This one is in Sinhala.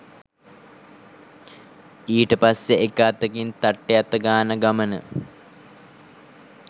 ඊට පස්සේ එක අතකින් තට්ටේ අතගාන ගමන